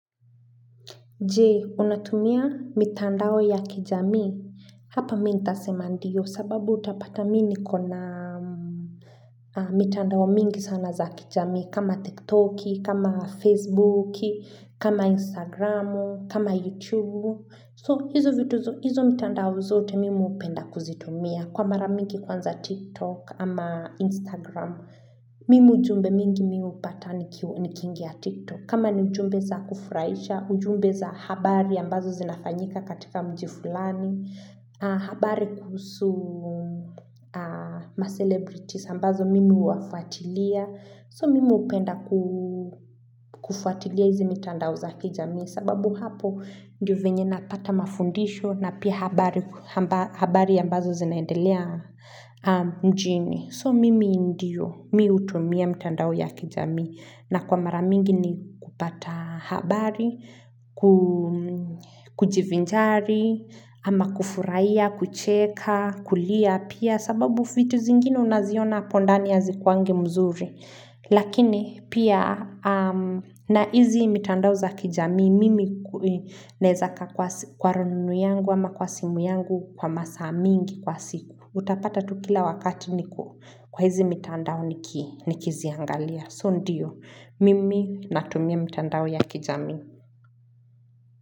Je, unatumia mitandao ya kijamii? Hapa mi nitasema ndio sababu utapata mi niko na mitandao mingi sana za kijamii kama TikTok, kama Facebook, kama Instagram, kama YouTube. So, hizo mitandao zote mimi hupenda kuzitumia kwa mara mingi kwanza TikTok ama Instagram. Mimi ujumbe mingi mi hupata nikingia TikTok. Kama ni ujumbe za kufurahisha, ujumbe za habari ambazo zinafanyika katika mji fulani habari kuhusu ma-celebrities ambazo mimi huwafuatilia, so mimi hupenda kufuatilia hizi mitandao za kijamii. Sababu hapo ndio venye napata mafundisho, na pia habari ambazo zinaendelea mjini. So mimi ndio, mi hutumia mitandao ya kijamii. Na kwa mara mingi ni kupata habari, kujivinjari, ama kufurahia, kucheka, kulia pia sababu vitu zingine unaziona hapo ndani hazikuwangi mzuri. Lakini pia na hizi mitandao za kijami mimi naeza kaa kwa rununu yangu ama kwa simu yangu kwa masaa mingi kwa siku. Utapata tu kila wakati niko kwa hizi mitandao nikiziangalia. So ndio, mimi natumia mitandao ya kijamii.